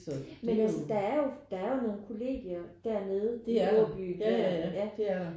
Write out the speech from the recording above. Men altså der er jo der er jo nogle kollegier dernede de har jo bygget ja